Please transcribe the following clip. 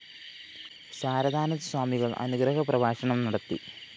ശാരദാനന്ദ സ്വാമികള്‍ അനുഗ്രഹ പ്രഭാഷണം നടത്തി